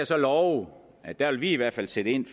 så love at der vil vi i hvert fald sætte ind